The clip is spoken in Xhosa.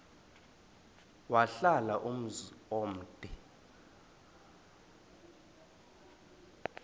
wahlala umzum omde